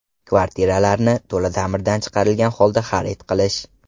Kvartiralarni to‘la ta’mirdan chiqarilgan holda xarid qilish.